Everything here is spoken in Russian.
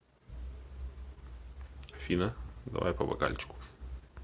афина давай по бокальчику